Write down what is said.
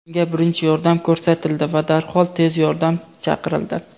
Unga birinchi yordam ko‘rsatildi va darhol tez yordam chaqirildi.